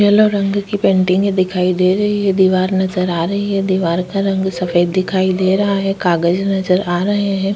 Yellow रंग की painting दिखाई दे रही है दीवार नजर आ रही है दीवार का रंग सफेद दिखाई दे रहा है कागज नजर आ रहे है। -